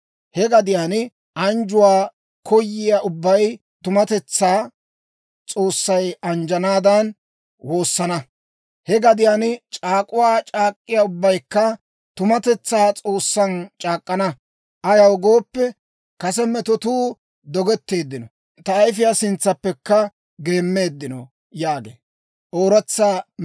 He gadiyaan anjjuwaa koyiyaa ubbay tumatetsaa S'oossay anjjanaadan woosana. He gadiyaan c'aak'uwaa c'aak'k'iyaa ubbaykka tumatetsaa S'oossan c'aak'k'ana; ayaw gooppe, kase metotuu dogetteeddino; ta ayfiyaa sintsaappekka geemmeeddino» yaagee.